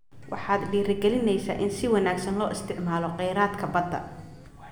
Waxaad dhiirigelinaysaa in si wanaagsan loo isticmaalo kheyraadka badda.